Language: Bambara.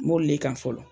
M'olu le kan fɔlɔ